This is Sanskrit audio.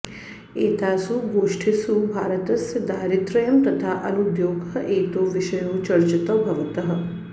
एतासु गोष्ठिसु भारतस्य दारिद्र्यम् तथा अनुद्योगः एतौ विषयौ चर्चितौ भवतः